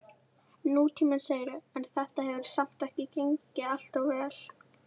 Nútíminn, segirðu, en þetta hefur samt ekki gengið alltof vel?